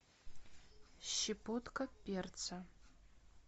щепотка перца